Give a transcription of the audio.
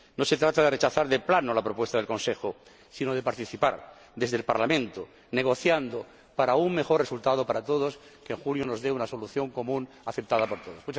No se trata de rechazar de plano la propuesta del Consejo, sino de participar desde el Parlamento, negociando para un mejor resultado para todos, que en julio nos dé una solución común, aceptada por todos.